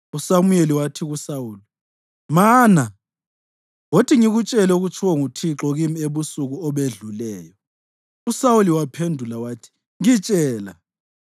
USamuyeli wathi kuSawuli, “Mana! Wothi ngikutshele okutshiwo nguThixo kimi ebusuku obedluleyo.” USawuli waphendula wathi, “Ngitshela.”